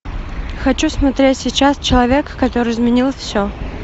хочу смотреть сейчас человек который изменил все